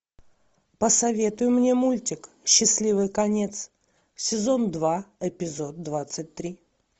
посоветуй мне мультик счастливый конец сезон два эпизод двадцать три